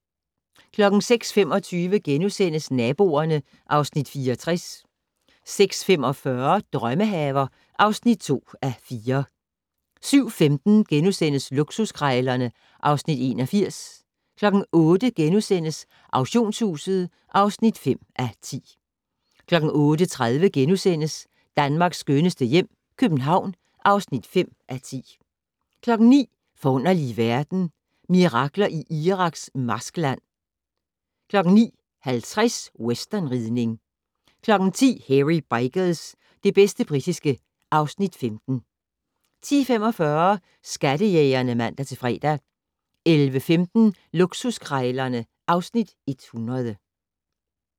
06:25: Naboerne (Afs. 64)* 06:45: Drømmehaver (2:4) 07:15: Luksuskrejlerne (Afs. 81)* 08:00: Auktionshuset (5:10)* 08:30: Danmarks skønneste hjem - København (5:10)* 09:00: Forunderlige verden - Mirakler i Iraks marskland 09:50: Westernridning 10:00: Hairy Bikers - det bedste britiske (Afs. 15) 10:45: Skattejægerne (man-fre) 11:15: Luksuskrejlerne (Afs. 100)